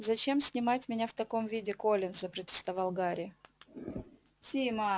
зачем снимать меня в таком виде колин запротестовал гарри